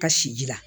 Ka si ji la